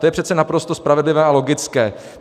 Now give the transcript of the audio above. To je přece naprosto spravedlivé a logické.